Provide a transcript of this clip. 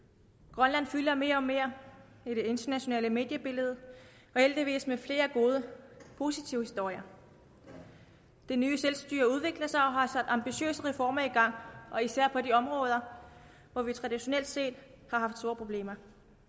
grønland fylder mere og mere i det internationale mediebillede og heldigvis med flere gode positive historier det nye selvstyre udvikler sig og har sat ambitiøse reformer i gang især på de områder hvor vi traditionelt set har haft store problemer